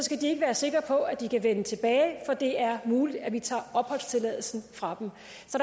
sikre på at de kan vende tilbage for det er muligt at vi tager opholdstilladelsen fra dem